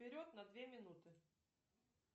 вперед на две минуты